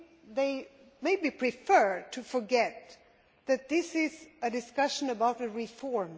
They maybe prefer to forget that this is a discussion about a reform.